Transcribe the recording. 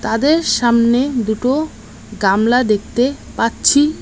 তাদের সামনে দুটো গামলা দেখতে পাচ্ছি।